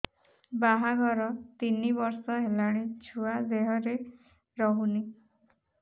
ବାହାଘର ତିନି ବର୍ଷ ହେଲାଣି ଛୁଆ ଦେହରେ ରହୁନି